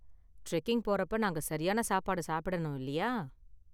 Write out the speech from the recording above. Trekking போறப்ப நாங்க சரியான சாப்பாடு சாப்பிடனும் இல்லியா?